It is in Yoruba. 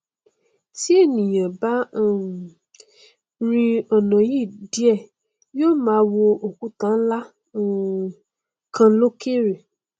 ti ènìà bá um rin ọnà yìí díẹ yó máa wo òkúta nlá um kan lókèrè